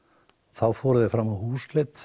þá fóru þeir fram á húsleit